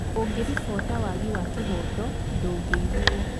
ũngĩribota wagi wa kĩhoto ndũngĩiguo